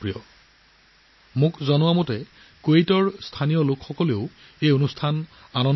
আনকি মোক কোৱা হৈছে যে কুৱেইটৰ স্থানীয় লোকসকলেও ইয়াৰ প্ৰতি বহুত আগ্ৰহ প্ৰকাশ কৰিছে